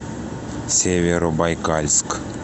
северобайкальск